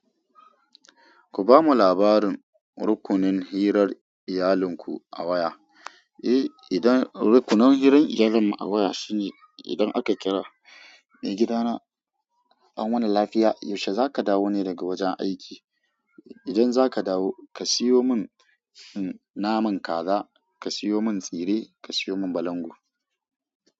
Ku ba mu labarin rukunin hirar iyalinku a waya. Eh, idan rukunin hirar iyalin mu a waya shine idan aka kira, "Eh gidana, an wani lafiya, yaushe za ka dawo ne daga wajen aiki? Idan za ka dawo, ka siyo mun naman kaza, ka siyo mun tsire, ka siyo mun balangu."